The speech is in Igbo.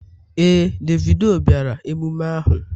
Ee, Davido bịara emume ahụ.